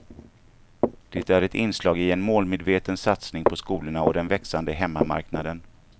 Det är ett inslag i en målmedveten satsning på skolorna och den växande hemmamarknaden.